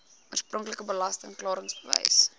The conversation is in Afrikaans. oorspronklike belasting klaringsbewys